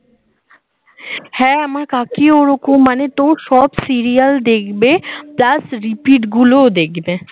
হ্যাঁ আমার কাকি ও ওরকম মানে তোর সব serial দেখবে plus repeat গুলো দেখবে